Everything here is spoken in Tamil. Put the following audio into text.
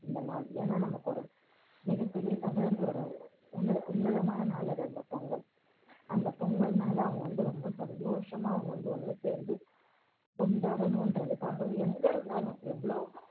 இந்த நாள் ஏன்னா, நமக்கு ஒரு மிகப் பெரிய தமிழர்களோட உன்ன~ உன்னதமான நாள் அது அந்த பொங்கல். அந்த பொங்கல் நாளை அவங்க வந்து ரொம்ப சந்தோஷமா அவங்க வந்து ஒண்ணு சேர்ந்து கொண்டாடணுன்றதுக்காக எங்க இருந்தாலும், எவ்ளோ